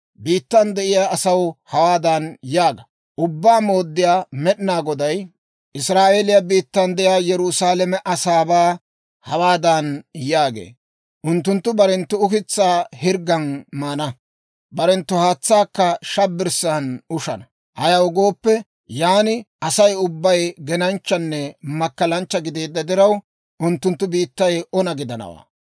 Biittan de'iyaa asaw hawaadan yaaga; ‹Ubbaa Mooddiyaa Med'inaa Goday Israa'eeliyaa biittan de'iyaa Yerusaalame asaabaa hawaadan yaagee; «Unttunttu barenttu ukitsaa hirggan maana; barenttu haatsaakka shabbirssan ushana. Ayaw gooppe, yaan Asay ubbay genanchchanne makkalanchcha gideedda diraw, unttunttu biittay ona gidanawaa.